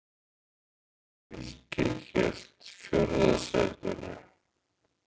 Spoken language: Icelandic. Fylkir hélt fjórða sætinu